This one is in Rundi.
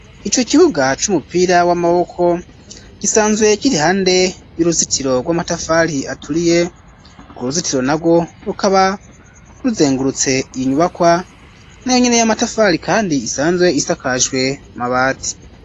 Ico kibuga c'umupira w'amaboko gisanzwe kiri hande y'uruzitiro rw'amatafari aturiye ku ruzitiro narwo rukaba ruzengurutse iyi nyubakwa nayo nyine y'amatafari kandi isanzwe isakajwe amabati.